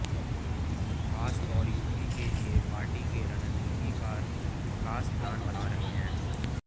खास तौर यूपी के लिए पार्टी के रणनीतिकार खास प्लान बना रहे हैं